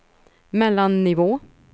mellannivå